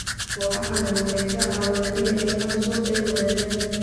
Kooxahani waxay ka caawiyaan inay helaan suuq ay wadaagaan.